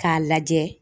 K'a lajɛ